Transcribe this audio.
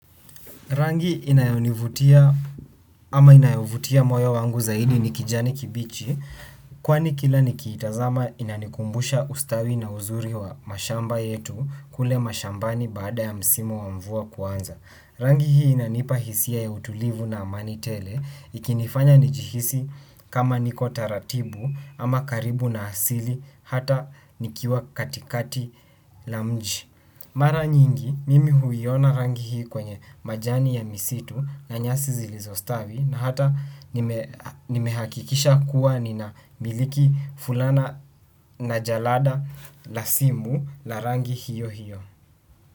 Rangi inayonivutia ama inayovutia moyo wangu zaidi ni kijani kibichi kwani kila nikitazama inanikumbusha ustawi na uzuri wa mashamba yetu kule mashambani baada ya msimu wa mvua kuanza. Rangi hii inanipa hisia ya utulivu na amani tele ikinifanya njihisi kama niko taratibu ama karibu na asili hata nikiwa katikati la mji. Mara nyingi mimi huiona rangi hii kwenye majani ya misitu na nyasi zilizostavi na hata nimehakikisha kuwa nina miliki fulana na jalada la simu la rangi hiyo hiyo.